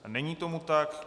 Není tomu tak.